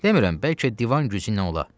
Demirəm, bəlkə divan gücü ilə ola.